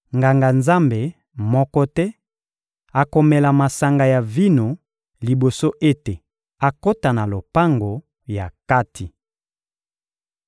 Nganga-Nzambe moko te akomela masanga ya vino liboso ete akota na lopango ya kati.